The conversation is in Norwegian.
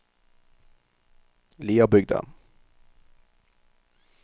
Liabygda